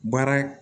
Baara